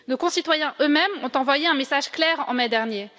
Nos concitoyens eux mêmes ont envoyé un message clair en mai dernier.